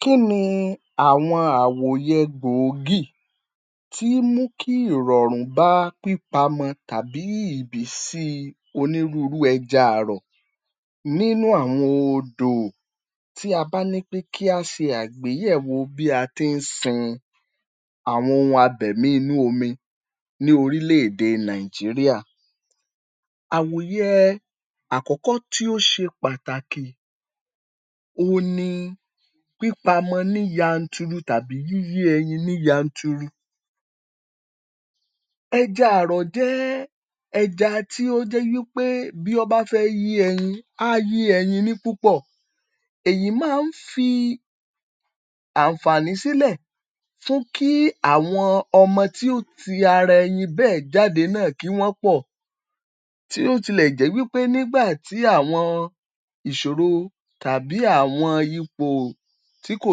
Kí ni àwọn àwòyẹ gbòógì tií mú kí ìrọ̀rùn bá pípamọ tàbí ìbísí onírúurú ẹja àrọ̀ nínú àwọn odò. Tí a bá ní pé kí á ṣe àgbéyẹ̀wò bí a tií sin àwọn ohun abẹ̀mí inú omi ní orílẹ̀ èdè Nàìjíríà. Àwòyẹ àkọ́kọ́ tí ó ṣe pàtàkì òun ni pípamọ ní yanturu tàbí yíyé ẹyin ní yanturu. Ẹja àrọ̀ jẹ́ ẹja tí ó jẹ́ wípé bí wọ́n bá fẹ́ yín ẹyin, á yín ẹyin ní púpọ̀. Èyí máa ń fi àǹfààní sílẹ̀ fún kí àwọn ọmọ tí ó ti ara ẹyin bẹ́ẹ̀ jáde náà kí wọ́n pọ̀. Tí ó tilẹ̀ jẹ́ wípé nígbà tí àwọn ìṣòro tàbí àwọn ipò tí kò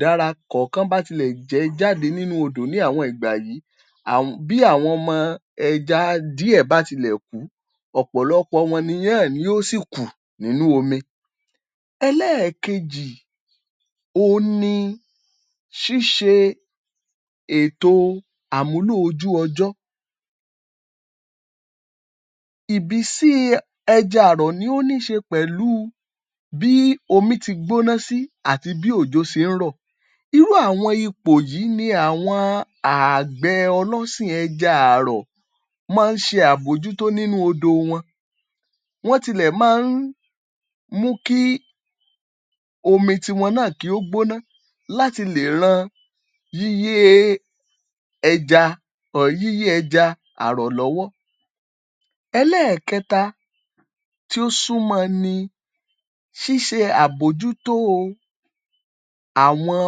dára kọ̀ọ̀kan bá tilẹ̀ jẹ jáde nínú odò ní àwọn ìgbà yìí bí àwọn ọmọ ẹja díẹ̀ bá ti lè kù ú ọ̀pọ̀lọpọ̀ wọn ni yóó sì kù nínú omi. Ẹlẹ́ẹ̀kejì òun ni ṣíṣe ètò àmúlò ojú ọjọ́. Ìbísíi ẹja àrọ̀ ni ó níṣe pẹ̀lú bí omi ti gbóná sí àti bí òjò ṣe ń rọ̀. Irú àwọn ipò yìí ni àwọn ààgbẹ̀ ọlọ́sìn ẹja àrọ̀ máa ń ṣe àbójútó nínú odò wọn. Wọ́n tilẹ̀ máa ń mú kí omi tiwọn náà kí ó gbóná láti lè ran yíyée yíyé ẹja àrọ̀ lọ́wọ́. Ẹlẹ́ẹ̀kẹta tí ó súnmọ́ ni ṣíṣe àbójútóo àwọn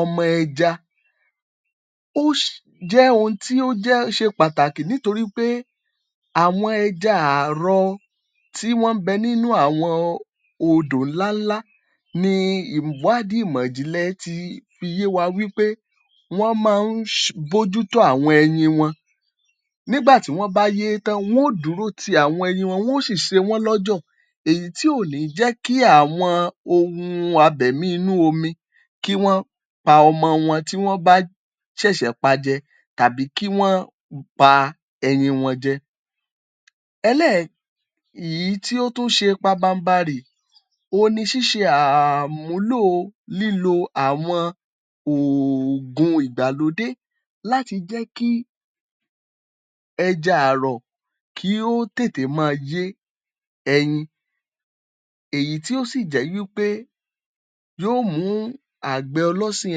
ọmọ ẹja. Ó jẹ́ ohun tí ó jẹ́ ṣe pàtàkì nítorí pé àwọn ẹja àrọ̀ tí wọ́n ń bẹ nínú àwọn odò ńlá ńlá ni ìwádìí ìmọ̀jìnlẹ̀ ti fi yé wa wípé wọ́n máa ń bójútó àwọn ẹyin wọn. Nígbà tí wọ́n bá yé tán, wọ́n ò dúró ti àwọn ẹyin wọn, wọ́n ó sì ṣe wọ́n lọ́jọ̀ èyí tí ò ní jẹ́ kí àwọn ohun abẹ̀mí inú omi kí wọ́n pa ọmọ wọn tí wọ́n bá ṣẹ̀ṣẹ̀ pajẹ tàbí kí wọ́n pa ẹyin wọn jẹ. Ẹlẹ́ẹ̀ èyí tí ó tún ṣe pabanbarì, òun ni ṣíṣe um àmúlóò lílo àwọn ooògùn ìgbàlódé láti jẹ́ kí ẹja àrọ̀ kí ó tètè máa yé ẹyin, èyí tí ó sì jẹ́ wípé yóò mú àgbẹ̀ ọlọ́sìn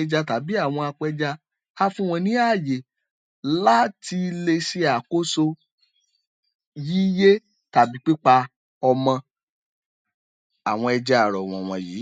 ẹja tàbí àwọn apẹja á fún wọn ní ààyè láti le ṣe àkóso yíyé tàbí pípa ọmọ àwọn ẹja àrọ̀ wòwọ̀nyí.